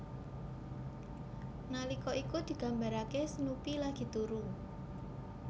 Nalika iku digambaraké Snoopy lagi turu